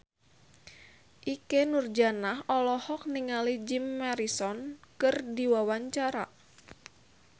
Ikke Nurjanah olohok ningali Jim Morrison keur diwawancara